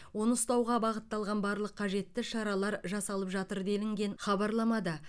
оны ұстауға бағытталған барлық қажетті шаралар жасалып жатыр делінген хабарламада